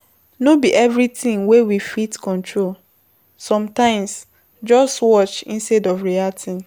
No be everything wey we fit control, sometimes just watch instead of reacting